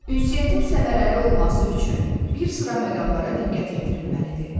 Ünsiyyətin səmərəli olması üçün bir sıra məqamlara diqqət yetirilməlidir.